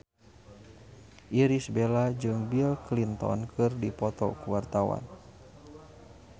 Irish Bella jeung Bill Clinton keur dipoto ku wartawan